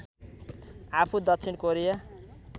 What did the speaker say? आफू दक्षिण कोरिया